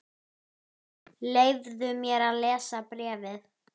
Leyfðu mér að lesa bréfið